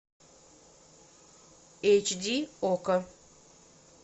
эйч ди окко